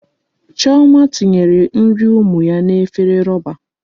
Chioma tinyere nri ụmụ ya n'efere roba.